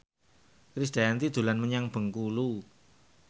Krisdayanti dolan menyang Bengkulu